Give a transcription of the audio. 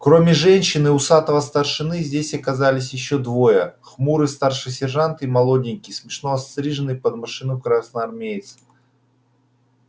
кроме женщин и усатого старшины здесь оказались ещё двое хмурый старший сержант и молоденький смешно остриженный под машинку красноармеец